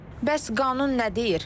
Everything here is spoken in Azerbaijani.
Bəs qanun nə deyir?